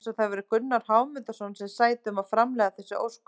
Eins og það væri Gunnar Hámundarson sem sæti um að framleiða þessi ósköp!